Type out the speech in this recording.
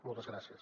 moltes gràcies